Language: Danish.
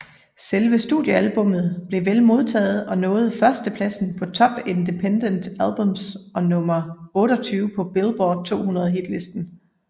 Selve studiealbummet blev vel modtaget og nåede førstepladsen på Top Independent Albums og nummer 28 på Billboard 200 hitlisten